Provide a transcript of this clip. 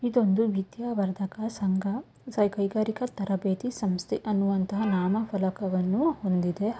ಇದೊಂದು ವಿದ್ಯಾ ವರ್ಧಕ ಸಂಘ ಕೈಗಾರಿಕಾ ತರಬೇತಿ ಸಂಸ್ಥೆ ಅನ್ನುವ ನಾಮ ಫಲಕವನ್ನು ಹೊಂದಿದೆ ಹಾಗು --